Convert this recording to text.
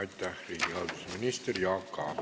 Aitäh, riigihalduse minister Jaak Aab!